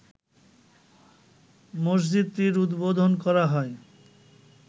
মসজিদটির উদ্বোধন করা হয়